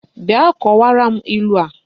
Bia kowara m ilu a!